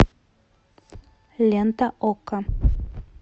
лента окко